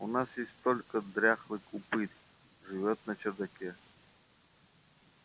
у нас есть только дряхлый упырь живёт на чердаке